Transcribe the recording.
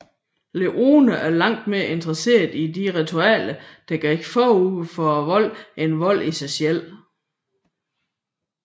Leone var langt mere interesseret i de ritualer der gik forud for volden end volden i sig selv